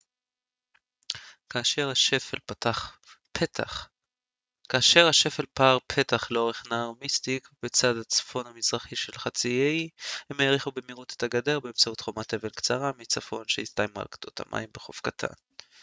כאשר השפל פער פתח לאורך נהר מיסטיק בצד הצפון-מזרחי של חצי האי הם האריכו במהירות את הגדר באמצעות חומת אבן קצרה מצפון שהסתיימה על גדות המים בחוף קטן